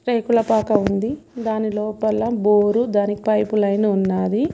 టేకుల పాక ఉంది దాని లోపల బోరు దాని పైపు లైను ఉన్నాది.